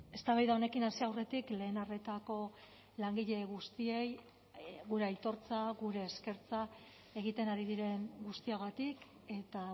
eztabaida honekin hasi aurretik lehen arretako langile guztiei gure aitortza gure eskertza egiten ari diren guztiagatik eta